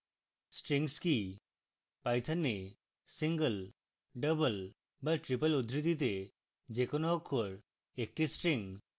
strings কি